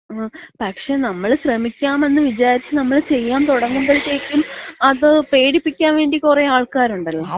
ങാ, പക്ഷേ നമ്മള് ശ്രമിക്കാമെന്ന് വിചാരിച്ച് നമ്മള് ചെയ്യാൻ തുടങ്ങുമ്പഴത്തേയ്ക്കും അത് പേടിപ്പിക്കാൻ വേണ്ടി കൊറെ ആൾക്കാരുണ്ടല്ലോ.